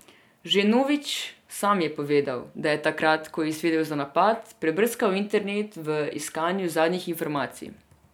Že Novič sam je povedal, da je takrat, ko je izvedel za napad, prebrskal internet v iskanju zadnjih informacij.